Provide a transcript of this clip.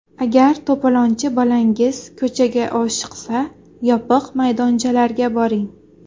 Agar to‘polonchi bolangiz ko‘chaga oshiqsa, yopiq maydonchalarga boring.